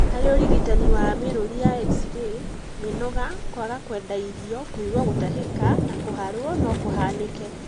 Harĩ ũrigitani wa mĩrũri ya x-ray, mĩnoga, kwaga kwenda irio, kũigua gũtahĩka na kũharwo no kũhanĩke